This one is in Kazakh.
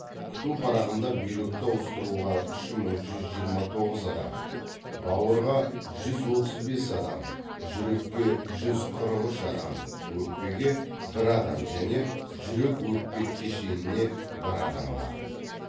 күту парағында бүйректі ауыстыруға үш мың жүз жиырма тоғыз адам бауырға жүз отыз бес адам жүрекке жүз қырық үш адам өкпеге бір адам және жүрек өкпе кешеніне бір адам бар